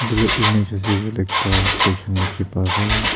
etu image ase koi ley ekta station dikhi pa ase.